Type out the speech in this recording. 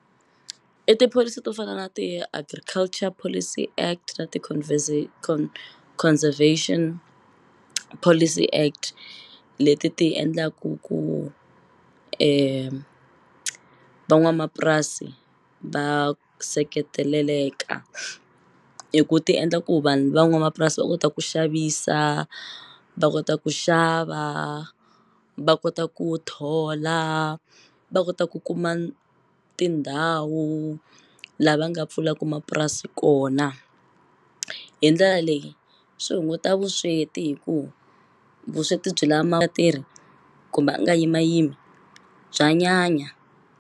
I tipholisi to fana na ti-Agriculture Policy Act na ti Conservation Policy Act leti ti endlaku ku van'wamapurasi va seketeleleka hi ku ti endla ku vanhu van'wamapurasi va kota ku xavisa va kota ku xava va kota ku thola va kota ku kuma tindhawu lava nga pfulaku mapurasi kona hi ndlela leyi swi hunguta vusweti hi ku vusweti byi tirhi kumbe a nga yimayimi bya nyanya.